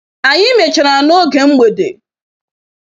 Anyi mechara n'oge mgbede.